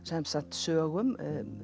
sögum